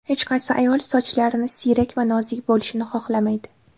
Hech qaysi ayol sochlarini siyrak va nozik bo‘lishini xohlamaydi.